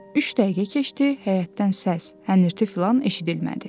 Üç dəqiqə keçdi, həyətdən səs, hənirti filan eşidilmədi.